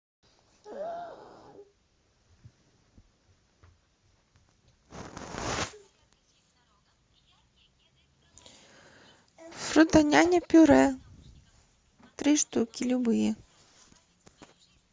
фруто няня пюре три штуки любые